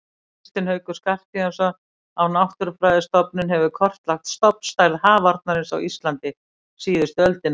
Kristinn Haukur Skarphéðinsson á Náttúrufræðistofnun hefur kortlagt stofnstærð hafarnarins á Íslandi síðustu öldina.